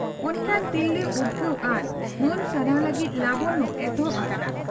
ᱚᱱᱠᱟᱱ ᱛᱤᱨᱞᱟᱹ ᱩᱫᱽᱜᱟᱹᱣ ᱟᱨ ᱢᱟᱹᱱ ᱥᱟᱨᱦᱟᱣ ᱞᱟᱹᱜᱤᱫ 'ᱞᱚᱵᱚᱱᱭᱚ' ᱮᱛᱚᱦᱚᱵ ᱟᱠᱟᱱᱟ ᱾